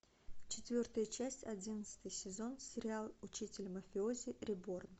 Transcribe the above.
четвертая часть одиннадцатый сезон сериал учитель мафиози реборн